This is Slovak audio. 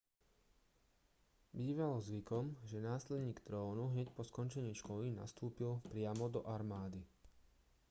bývalo zvykom že následník trónu hneď po skončení školy nastúpil priamo do armády